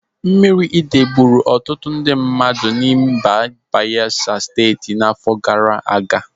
Mmiri idei gburu ọtụtụ ndị mmadụ n'mba Bayelsa Steeti n'afọ gara aga.